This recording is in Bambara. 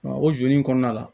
O joli in kɔnɔna la